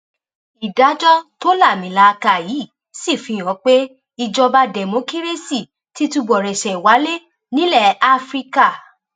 ìdájọ tó láàmìlàaka yìí sì fihàn pé ìjọba dẹmọkírẹsì ti túbọ rẹṣẹ wálé nílẹ afrika